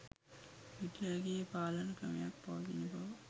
හිට්ලර්ගේ පාලන ක්‍රමයක් පවතින බව